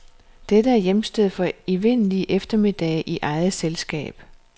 Dette er hjemsted for evindelige eftermiddage i eget selskab.